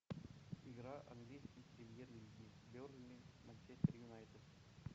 игра английской премьер лиги бернли манчестер юнайтед